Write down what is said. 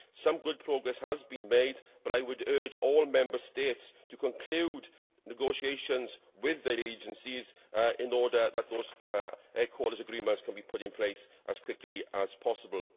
Some good progress has been made, but I would urge all Member States to conclude negotiations with their agencies in order that those headquarters agreements can be put in place as quickly as possible.